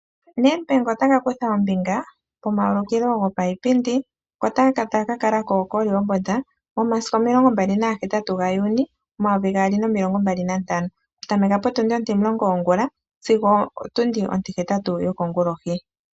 Nedbank ota ka kutha ommbinga komaulikilo gopayipindi ngoka ta ga ka kala koRehoboth momasiku 28 Juni 2025, okutameka potundi Ontimulongo yongula sigo otundi Ontihetatu yokongulohi.